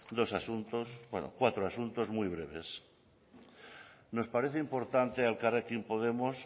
dos asuntos cuatro asuntos muy breves nos parece importante a elkarrekin podemos